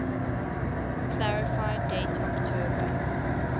clarify date october